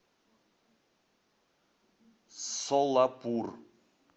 солапур